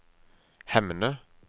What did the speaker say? Hemne